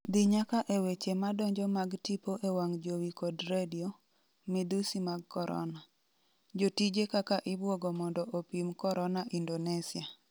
dhi nyaka e weche madonjo mag tipo e wang jowi kod redio, midhusi mag korona: jotije kaka ibwogo mondo opim korona Indonesia